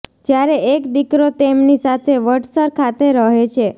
જ્યારે એક દિકરો તેમની સાથે વડસર ખાતે રહે છે